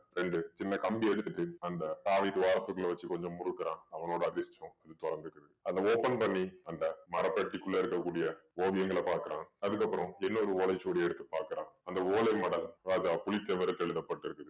ரெண்டு சின்ன கம்பி எடுத்துட்டு அந்த சாவி துவாரத்துக்குள்ள வச்சு கொஞ்சம் முறுக்குறான் அவனோட அதிர்ஷ்டம் இது தொறந்துக்குது அத open பண்ணி அந்த மரப்பெட்டிக்குள்ள இருக்கக்கூடிய ஓவியங்கள பார்க்கிறான் அதுக்கப்புறம் இன்னொரு ஓலைச்சுவடியை எடுத்து பார்க்கிறான் அந்த ஓலை மடல் ராஜா புளிச்செவருக்கு எழுதப்பட்டிருக்கு